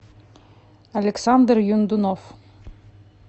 александр юндунов